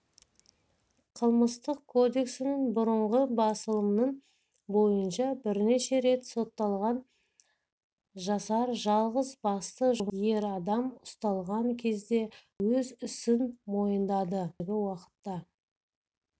қылмыстық кодексінің бұрынғы басылымының бойынша бірнеше рет сотталған жасар жалғыз басты жұмыссыз ер адам ұсталған кезде өз ісін мойындады қазіргі уақытта